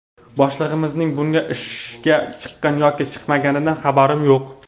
Boshlig‘imizning bugun ishga chiqqan yoki chiqmaganidan xabarim yo‘q.